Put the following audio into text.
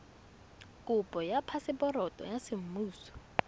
kopo ya phaseporoto ya semmuso